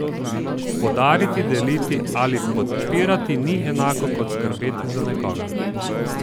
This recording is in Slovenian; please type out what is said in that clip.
Podariti, deliti ali podpirati ni enako kot skrbeti za nekoga.